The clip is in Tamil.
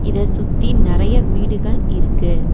இத சுத்தி நெறையா வீடுகள் இருக்கு.